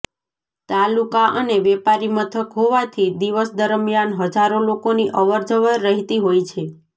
તાલુકા અને વેપારી મથક હોવાથી દિવસ દરમિયાન હજારો લોકોની અવરજવર રહેતી હોય છે